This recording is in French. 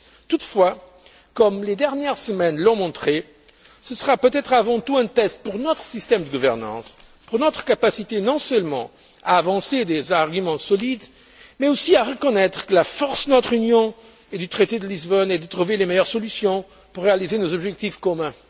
Toutefois, comme les dernières semaines l'ont montré, ce sera peut être avant tout un test pour notre système de gouvernance, pour notre capacité non seulement à avancer des arguments solides mais aussi à reconnaître que la force de notre Union et du traité de Lisbonne est de trouver les meilleures solutions pour réaliser nos objectifs communs.